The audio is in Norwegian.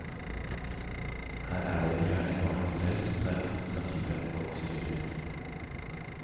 Her er det gjerne barna selv som tar initiativet og styrer.